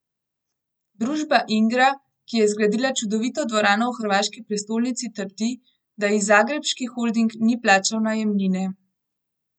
Družba Ingra, ki je zgradila čudovito dvorano v hrvaški prestolnici, trdi, da ji zagrebški holding ni plačal najemnine.